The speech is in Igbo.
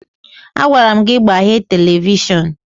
Agwara m gị gbaghee televishọn!